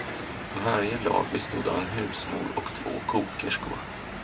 Varje lag bestod av en husmor och två kokerskor.